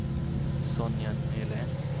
Sonja Nylén